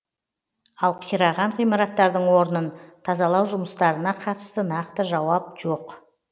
ал қираған ғимараттардың орнын тазалау жұмыстарына қатысты нақты жауап жоқ